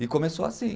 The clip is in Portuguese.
E começou assim.